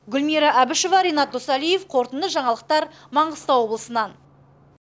гүлмира әбішева ренат досалиев қорытынды жаңалықтар маңғыстау облысынан